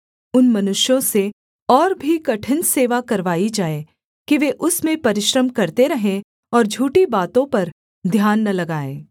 उन मनुष्यों से और भी कठिन सेवा करवाई जाए कि वे उसमें परिश्रम करते रहें और झूठी बातों पर ध्यान न लगाएँ